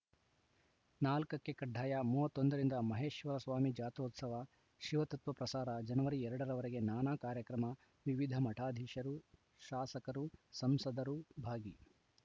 ನಾಲ್ಕ್ ಕ್ಕೆಕಡ್ಡಾಯ ಮೂವತ್ತ್ ಒಂದ ರಿಂದ ಮಹೇಶ್ವರಸ್ವಾಮಿ ಜಾತ್ರೋತ್ಸವ ಶಿವತತ್ವ ಪ್ರಸಾರ ಜನವರಿ ಎರಡ ರವರೆಗೆ ನಾನಾ ಕಾರ್ಯಕ್ರಮ ವಿವಿಧ ಮಠಾಧೀಶರು ಶಾಸಕರು ಸಂಸದರು ಭಾಗಿ